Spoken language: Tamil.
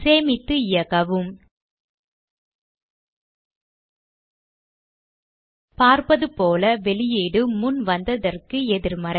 சேமித்து இயக்கவும் பார்ப்பது போல வெளியீடு முன் வந்ததற்கு எதிர்மறை